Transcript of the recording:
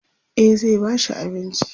e zai ba shi abinci